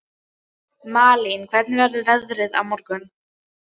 Malín, hvernig er veðrið á morgun?